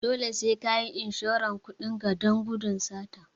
Dole sai kayi inshoran kudin ka don gudun sata